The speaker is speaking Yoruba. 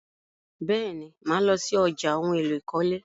Bẹ́ẹ̀ni, mà lọ sí ọjà ohun-èlò ìkọ́lé.